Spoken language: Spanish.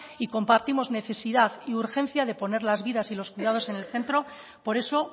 y compartimos necesidad y urgencia de poner las vidas y los cuidados en el centro por eso